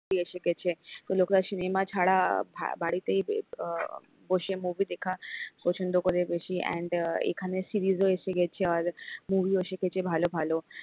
movie এসে গেছে তো লোকেরা cinema ছাড়া ভাবাড়িতেই আহ বসে movie দেখা পছন্দ করে বেশি and এখানে series ও এসে গেছে আর movie ও এসে গেছে ভালো ভালো,